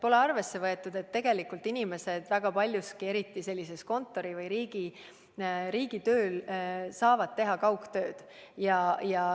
Pole arvesse võetud, et tegelikult inimesed, eriti need, kes teevad riigitööd või muud kontoritööd, saavad teha kaugtööd.